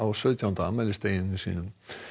sautjánda afmælisdaginn sinn